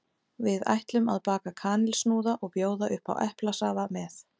Við ætlum að baka kanilsnúða og bjóða upp á eplasafa með.